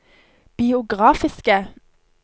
biografiske